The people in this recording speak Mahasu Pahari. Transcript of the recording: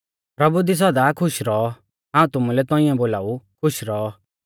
प्रभु दी सौदा खुश रौऔ हाऊं तुमुलै तौंइऐ बोलाऊ खुश रौऔ